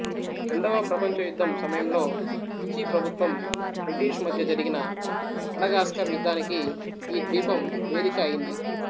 రెండవ ప్రపంచ యుద్ధం సమయంలో విచి ప్రభుత్వం బ్రిటీషు మధ్య జరిగిన మడగాస్కర్ యుద్ధానికి ఈ ద్వీపం వేదిక అయింది